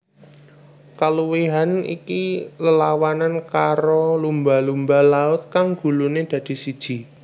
Kaluwihan iki lelawanan karo lumba lumba laut kang guluné dadi siji